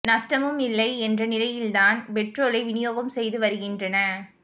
நஷ்டமும் இல்லை என்ற நிலையில்தான் பெட்ரோலை வினியோகம் செய்து வருகின்றன